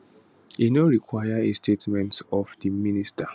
e no require a statement of di minister